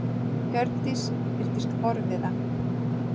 Hjördís virtist forviða.